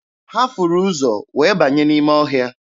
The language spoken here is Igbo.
Ha furu ụzọ wee banye n'ime ọhịa.